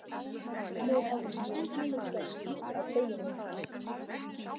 Nú hafði ég ýmislegt að segja honum.